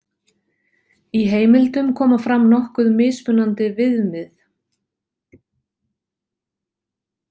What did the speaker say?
Í heimildum koma fram nokkuð mismunandi viðmið.